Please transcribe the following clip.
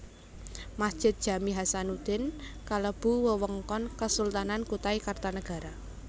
Masjid Jami Hasanuddin kalebu wewengkon Kesultanan Kutai Kartanagara